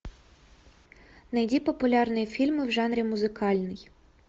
найди популярные фильмы в жанре музыкальный